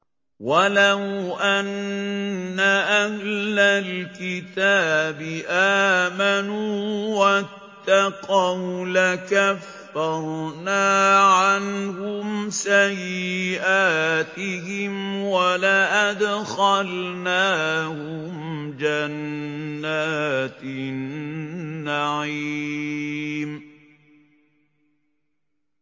وَلَوْ أَنَّ أَهْلَ الْكِتَابِ آمَنُوا وَاتَّقَوْا لَكَفَّرْنَا عَنْهُمْ سَيِّئَاتِهِمْ وَلَأَدْخَلْنَاهُمْ جَنَّاتِ النَّعِيمِ